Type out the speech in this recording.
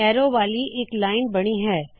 ਅਰੋ ਵਾਲ਼ੀ ਇਕ ਲਾਇਨ ਬਣੀ ਹੈ